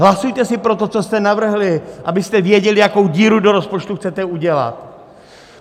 Hlasujte si pro to, co jste navrhli, abyste věděli, jakou díru do rozpočtu chcete udělat.